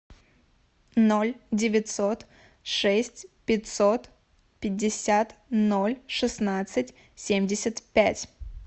ноль девятьсот шесть пятьсот пятьдесят ноль шестнадцать семьдесят пять